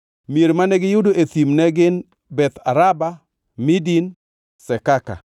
Mier mane giyudo e thim ne gin: Beth Araba, Midin, Sekaka,